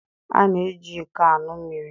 A na-eji iko aṅụ mmiri.